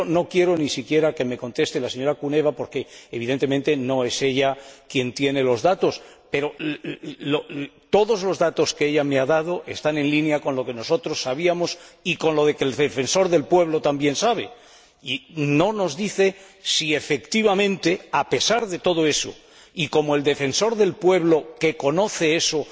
Yo no quiero ni siquiera que me conteste la señora Kuneva porque, evidentemente, no es ella quien tiene los datos, pero todos los datos que ella me ha dado están en línea con lo que nosotros sabíamos y con lo que el Defensor del Pueblo también sabe y no nos dice si efectivamente, a pesar de todo eso, y como el Defensor del Pueblo, que conoce eso,